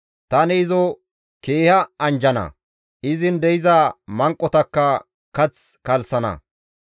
Tani izo keeha anjjana; izin de7iza manqotakka kath kalssana.